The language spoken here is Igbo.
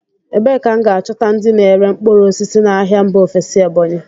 Ebee ka m ga-achọta ndị na-ere mkpụrụ osisi n'ahịa mba ofesi Ebonyi?